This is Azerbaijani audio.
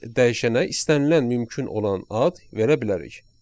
Burada biz dəyişənə istənilən mümkün olan ad verə bilərik.